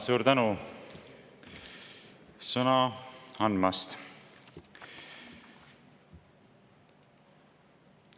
Suur tänu sõna andmast!